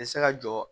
Bɛ se ka jɔ